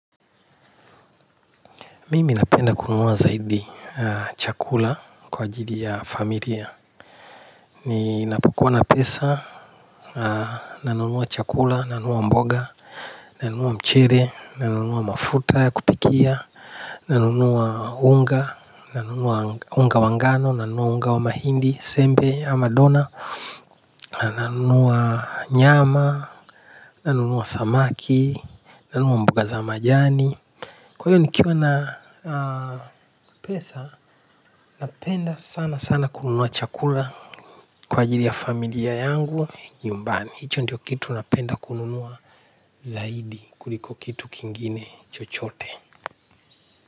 Mimi napenda kununua zaidi chakula kwa ajili ya familia. Ninapokua na pesa, nanunua chakula, nanunua mboga, nanunua mchele, nanunua mafuta ya kupikia nanunua unga, nanunua unga wa ngano, nanunua unga wa mahindi sembe au Dona, nanunua nyama, nanunua samaki, nanunua mboga za majani, kwa hiyo nikiwa na pesa, napenda sanasana kununua chakula kwa ajili ya familia yangu nyumbani. Hicho ndio kitu napenda kununua zaidi kuliko kitu kingine chochote.